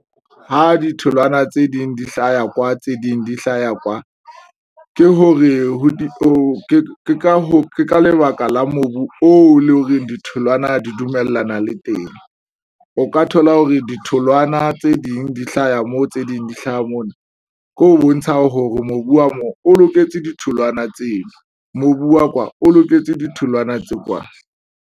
Ha ditholwana tse ding di hlaya kwa, tse ding, di hlaya kwa, ke hore ke ka hoo ke ka lebaka la mobu oo le hore ditholwana di dumellana le teng o ka thola hore ditholwana tse ding di hlaha moo. Tse ding di hlaha mona ke ho bontsha hore mobu wa mo o loketse ditholwana tseo. Mobu wa kwa o loketse ditholwana tse kwana.